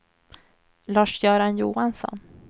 Lars-Göran Johansson